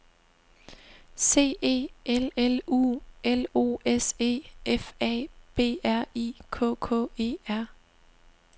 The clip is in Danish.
C E L L U L O S E F A B R I K K E R